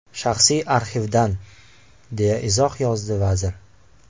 Shaxsiy arxivdan”, deya izoh yozdi vazir.